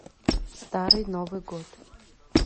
старый новый год